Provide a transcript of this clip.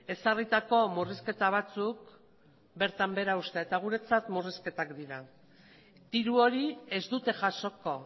ezarritako murrizketa batzuk bertan behera uztea eta guretzat murrizketak dira diru hori ez dute jasoko